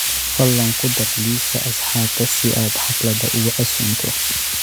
fadlan ku dar liiska asxaabta si aad xaflada ugu casuunto